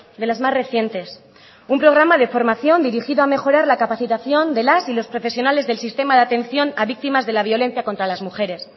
de las más recientes un programa de formación dirigido a mejorar la capacitación de las y los profesionales del sistema de atención a víctimas de la violencia contra las mujeres